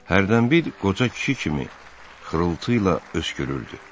Hərdən bir qoca kişi kimi xırıltı ilə öskürürdü.